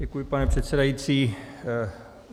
Děkuji, pane předsedající.